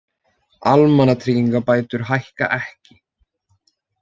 Almannatryggingabætur hækka ekki